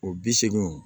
O bi seegin